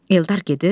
Eldar gedir,